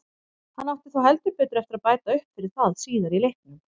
Hann átti þó heldur betur eftir að bæta upp fyrir það síðar í leiknum.